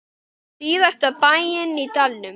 Síðasta bæinn í dalnum.